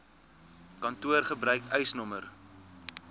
kantoor gebruik eisnr